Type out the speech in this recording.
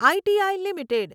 I T I limited